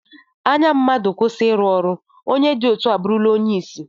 Anya mmadụ kwụsị iru ọrụ, onye dị etu a abụrụla onye isi